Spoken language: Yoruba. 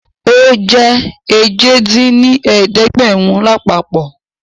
Ó jẹ́ èje dín ní ẹ̀ẹ́dẹ́gbẹ́rún lápapọ̀